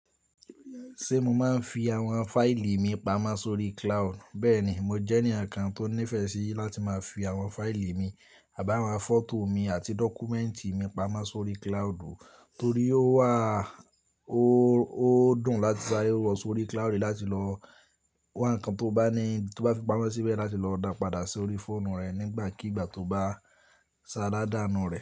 Ṣé mo máa ń fi àwọn fáìlì mi pamọ́ sórí cloud? Bẹ́ẹ̀ni, mo jẹ́ ẹnìkan tó nífẹ̀ẹ́ sí láti máa fi àwọn fáìlì mi àbáma fọ́tò mi àti dọ́kúmẹ́ǹtì mi pamọ́ sórí cloudu, torí ó wà, o ó dùn láti saree mu won sórí cloud láti lọ won wá ǹnkan tó bá ní tó bá fi pamọ́ síbẹ̀ láti lọ dá padà sórí fóònù rẹ̀ nígbàkigbà tó bá sá ládàánù rẹ̀